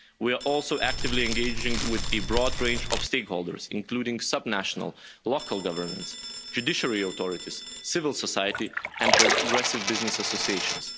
We are also actively engaging with a broad range of stakeholders including sub national local governance, judiciary authorities, civil society and progressive business associations.